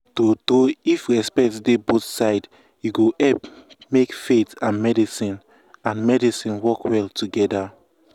true true if respect dey both side e go help make faith and medicine and medicine work well together.